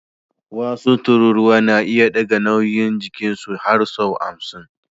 Wasu tururuwa na iya ɗaga nauyin jikinsu har sau hamsin